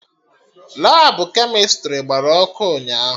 Labụ kemịstrị gbara ọkụ ụnyaahụ